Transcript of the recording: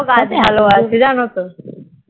ওরাও গাছ ভালোবাসে জানো তো